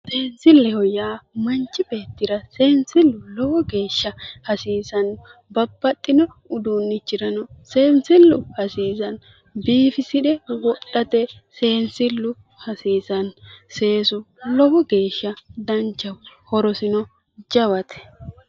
Sensilleho yaa manchi beettira sensillu lowo geeshsha hasiisano, babbaxino uduunchirano sensilu hasiisano, biifisire wodhate sensillu hasiisano, seesu lowo geeshsha danchaho, horosino jawate.